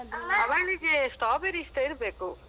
ಅವಳಿಗೆ strawberry ಇಷ್ಟ ಇರ್ಬೇಕು.